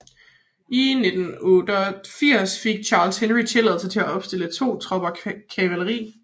I 1886 fik Charles Henry tilladelse til at opstille to tropper kavaleri